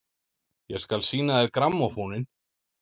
Ég skal sýna þér grammófóninn!